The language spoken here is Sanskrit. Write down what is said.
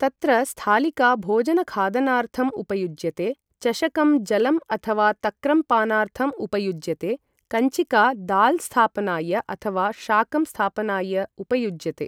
तत्र स्थालिका भोजनखादनार्थम् उपयुज्यते चषकं जलम् अथवा तक्रं पानार्थम् उपयुज्यते कञ्चिका दाल् स्थापनाय अथवा शाकं स्थापनाय उपयुज्यते ।